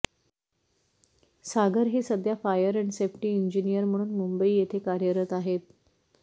सागर हे सध्या fire and safety engineer म्हणून मुंबई येथे कार्यरत आहेत